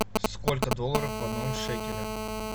сколько долларов в одном шекеле